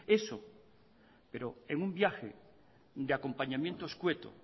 pero en un viaje de acompañamiento escueto